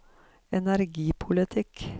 energipolitikk